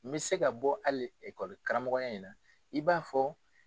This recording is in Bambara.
N bɛ se ka bɔ hali karamɔgɔya in na i b'a fɔ.